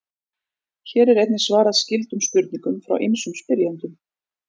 Hér er einnig svarað skyldum spurningum frá ýmsum spyrjendum.